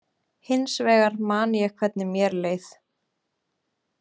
Hins vegar man ég hvernig mér leið.